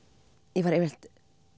ég var yfirleitt